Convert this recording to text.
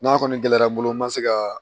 N'a kɔni gɛlɛyara n bolo n ma se ka